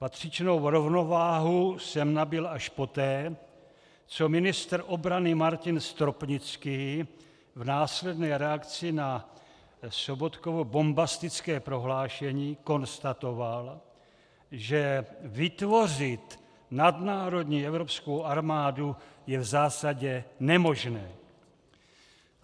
Patřičnou rovnováhu jsem nabyl až poté, co ministr obrany Martin Stropnický v následné reakci na Sobotkovo bombastické prohlášení konstatoval, že vytvořit nadnárodní evropskou armádu je v zásadě nemožné.